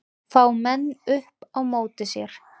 Fá menn upp á móti sér